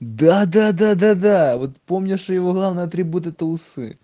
да-да-да вот помнишь что его главные атрибуты это усы